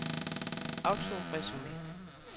autoresume